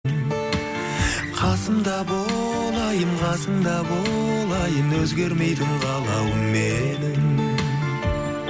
қасымда бол айым қасымда бол айым өзгермейтін қалауым менің